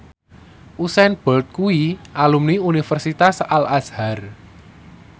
Usain Bolt kuwi alumni Universitas Al Azhar